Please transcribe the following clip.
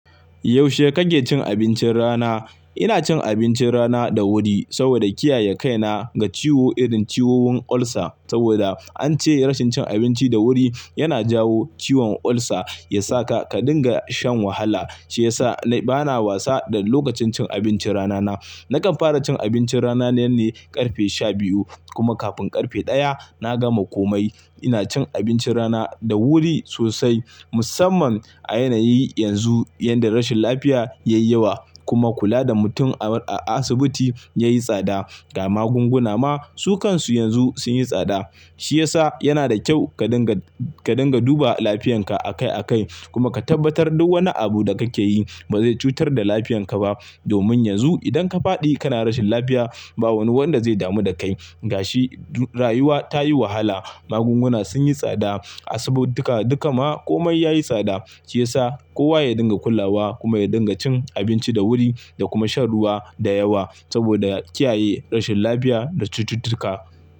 Yaushe kake cin abincin rana? Ina cin abincin rana da wuri saboda kiyaye kaina ga ciwo irin ciwon ulcer saboda an ce rashin cin abinci da wuri yana jawo ciwon ulcer, yasa ka dinga shan wahala. Shi ya sa bana wasa da lokacin cin abincin rana na. Nakan fara cin abincin rana ne ne ƙarfe shabiyu kuma kafin ƙarfe ɗaya na gama komai. Ina cin abincin rana da wuri sosai musamman a yanayi yanzu inda rashin lafiya ya yi yawa kuma kula da mutum a asibiti yayi tsada. Kuma magunguna ma sukansu yanzu sun yi tsada. Shi ya sa yana da kyau ka dinga, ka dinga duba lafiyarka akai akai kuma ka tabbatar duk wani abu da kake yi ba zai cutar da lafiyarka ba. Domin yanzu idan ka faɗi kana rashin lafiya ba wani wanda zai damu da kai. Ga shi rayuwa ta yi wahala, magunguna sun yi tsada, asibituka duka ma komai yayi tsada. Shi ya sa kowa ya dinga kulawa kuma ya dinga cin abinci da wuri da kuma shan ruwa da yawa saboda kiyaye rashin lafiya da cututtuka.